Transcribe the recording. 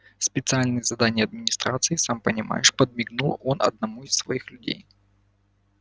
специальные задания администрации сам понимаешь подмигнул он одному из своих людей